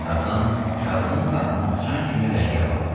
Tarzan kağızın qatını açan kimi rəngi ağardı.